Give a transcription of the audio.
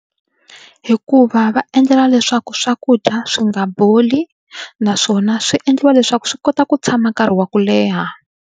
Hikuva va endlela leswaku swakudya swi nga boli naswona swi endliwa leswaku swi kota ku tshama nkarhi wa ku leha.